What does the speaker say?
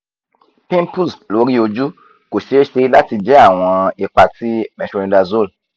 pimples lori oju ko ṣee ṣe lati jẹ awọn ipa ti metronidazole